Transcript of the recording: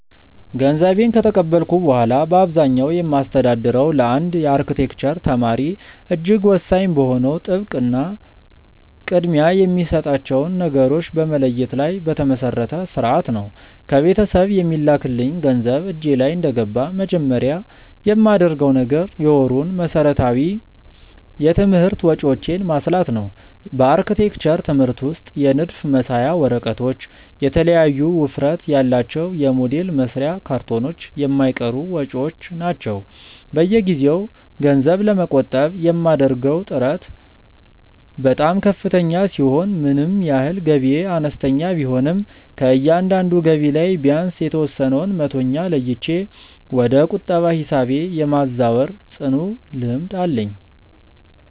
ገንዘቤን ከተቀበልኩ በኋላ በአብዛኛው የማስተዳድረው ለአንድ የአርክቴክቸር ተማሪ እጅግ ወሳኝ በሆነው ጥብቅ እና ቅድሚያ የሚሰጣቸውን ነገሮች በመለየት ላይ በተመሰረተ ሥርዓት ነው። ከቤተሰብ የሚላክልኝ ገንዘብ እጄ ላይ እንደገባ መጀመሪያ የማደርገው ነገር የወሩን መሠረታዊ የትምህርት ወጪዎቼን ማስላት ነው። በአርክቴክቸር ትምህርት ውስጥ የንድፍ መሳያ ወረቀቶች፣ የተለያዩ ውፍረት ያላቸው የሞዴል መስሪያ ካርቶኖች የማይቀሩ ወጪዎች ናቸው። በየጊዜው ገንዘብ ለመቆጠብ የማደርገው ጥረት በጣም ከፍተኛ ሲሆን ምንም ያህል ገቢዬ አነስተኛ ቢሆንም ከእያንዳንዱ ገቢ ላይ ቢያንስ የተወሰነውን መቶኛ ለይቼ ወደ ቁጠባ ሂሳቤ የማዛወር ጽኑ ልምድ አለኝ።